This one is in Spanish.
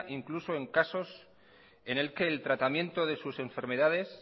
incluso en casos en el que el tratamiento de sus enfermedades